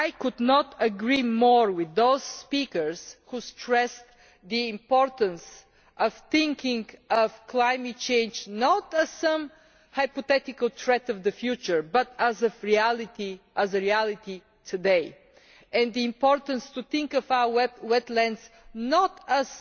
I could not agree more with those speakers who stressed the importance of thinking of climate change not as some hypothetical threat in the future, but as a reality today, and the importance of our wetlands not